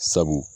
Sabu